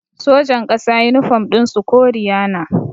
Sojan ƙasa yunifom ɗin su koriya na